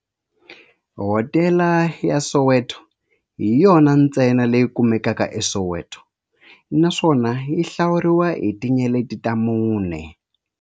Hodela ya Soweto hi yona ntsena leyi kumekaka eSoweto, naswona yi hlawuriwa hi tinyeleti ta mune.